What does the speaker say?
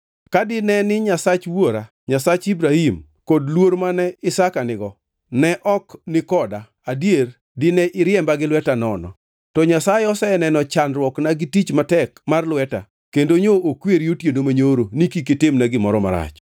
Ka dine ni Nyasach wuora, Nyasach Ibrahim, kod luor mane Isaka nigo, ne ok ni koda, adier dine iriemba gi lweta nono. To Nyasaye oseneno chandruokna gi tich matek mar lweta, kendo nyo okweri otieno manyoro ni kik itimna gimoro marach.”